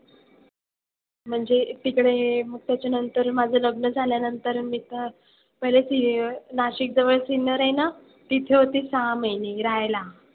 म्हणजे तिकडे हे मग त्याच्यानंतर माझं लग्न झाल्यानंतर मी काय पहिले सि नाशिकजवळ सिन्नर आहे ना तिथे होती सहा महिने राहायला.